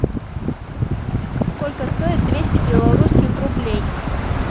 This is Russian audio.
сколько стоит двести белорусских рублей